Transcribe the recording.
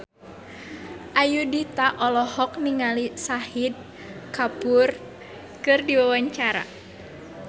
Ayudhita olohok ningali Shahid Kapoor keur diwawancara